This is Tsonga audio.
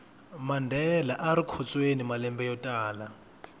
mandela arikhotsweni malembe yotala